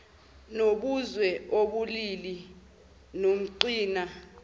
nobuzwe ubulili nomqhina